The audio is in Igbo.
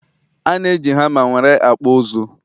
ana eji hama nwere akpu uzu